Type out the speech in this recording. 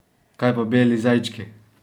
Kaj pa beli zajčki?